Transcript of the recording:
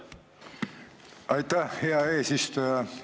Aitäh, hea eesistuja!